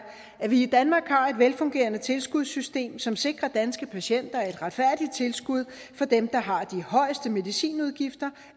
at vi i danmark har et velfungerende tilskudssystem som sikrer danske patienter et retfærdigt tilskud for dem der har de højeste medicinudgifter